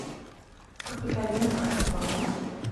капитолина кравцова